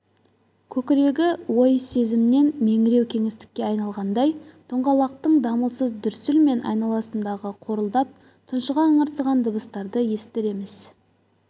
көкірегі ой-сезімнен меңіреу кеңістікке айналғандай доңғалақтың дамылсыз дүрсіл мен айналасындағы қорылдап тұншыға ыңырсыған дыбыстарды естір емес